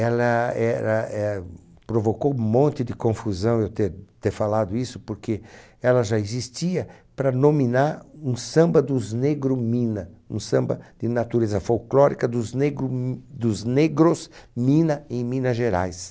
Ela era eh provocou um monte de confusão eu ter ter falado isso, porque ela já existia para nominar um samba dos negro mina, um samba de natureza folclórica dos negro m dos negros mina em Minas Gerais.